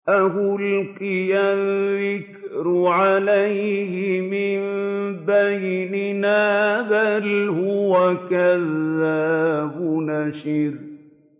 أَأُلْقِيَ الذِّكْرُ عَلَيْهِ مِن بَيْنِنَا بَلْ هُوَ كَذَّابٌ أَشِرٌ